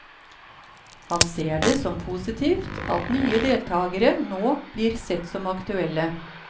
Han ser det som positivt at nye deltagere nå blir sett som aktuelle.